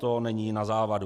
To není na závadu.